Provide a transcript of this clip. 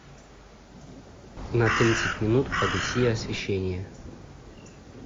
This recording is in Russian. на тридцать минут погаси освещение